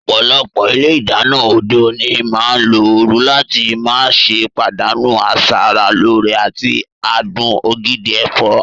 Ọ̀pọ̀lọpọ̀ ilé ìdáná òde òní máa ń lo ooru láti má ṣe pàdánù asara lóore àti adùn ògidì ẹ̀fọ́.